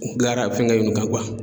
U bilara fɛngɛ ninnu kan